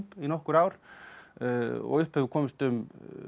í nokkur ár og upp hefur komist um